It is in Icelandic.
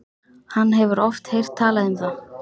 Hann hefur oft heyrt talað um það.